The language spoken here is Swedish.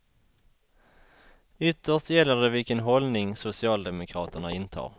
Ytterst gäller det vilken hållning socialdemokraterna intar.